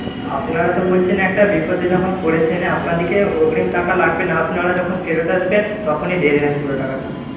আপনারা তো বলছেন একটা বিপদে যখন পড়েছেন আপনাদেরকে অগ্রিম টাকা লাগবে না। আপনারা যখন ফেরত আসবেন তখনি দিয়ে দেবেন পুরো টাকাটা।